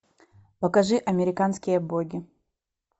покажи американские боги